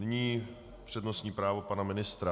Nyní přednostní právo pana ministra.